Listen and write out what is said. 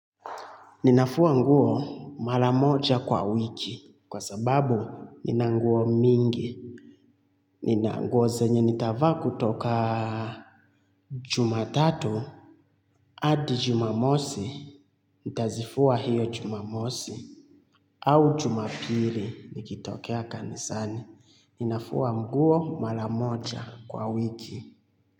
Ninafua nguo maramoja kwa wiki kwa sababu nina nguo mingi, nina nguo zenye nitavaa kutoka jumatatu hadi jumamosi, nitazifua hiyo jumamosi au jumapili nikitokea kanisani. Ninafua nguo malamoja kwa wiki.